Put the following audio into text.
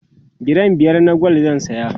giram biyar na gwal zan saya